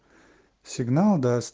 сигнал да